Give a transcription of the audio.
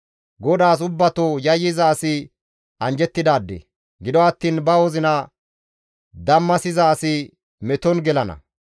GODAAS ubbato yayyiza asi anjjettidaade; gido attiin ba wozina dammasiza asi meton gelana.